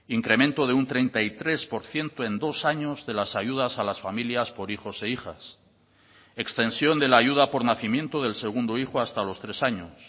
incremento de un treinta y tres por ciento en dos años de las ayudas a las familias por hijos e hijas extensión de la ayuda por nacimiento del segundo hijo hasta los tres años